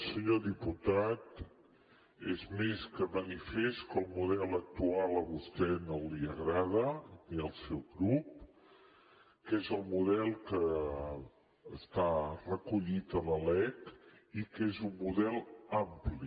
senyor diputat és més que manifest que el model actual a vostè no li agrada ni al seu grup que és el model que està recollit a la lec i que és un model ampli